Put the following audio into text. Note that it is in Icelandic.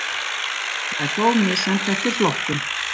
Það er þó misjafnt eftir flokkum